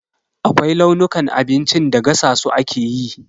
Akwai launukan abincin da gasa su ake yi.